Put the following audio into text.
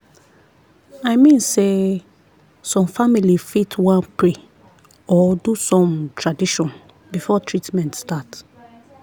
i mean sey some family fit wan pray or do some tradition before treatment start.